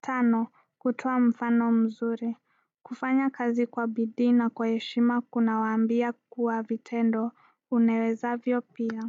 Tano, kutoa mfano mzuri kufanya kazi kwa bidii na kwa heshima kunawaambia kwa vitendo. Unawezavyo pia.